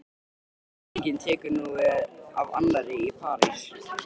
Hver sýningin tekur nú við af annarri- Í París